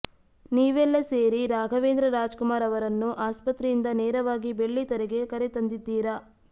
ನೀವೆಲ್ಲ ಸೇರಿ ರಾಘವೇಂದ್ರ ರಾಜ್ಕುಮಾರ್ ಅವರನ್ನು ಆಸ್ಪತ್ರೆಯಿಂದ ನೇರವಾಗಿ ಬೆಳ್ಳಿತೆರೆಗೆ ಕರೆ ತಂದಿದ್ದೀರ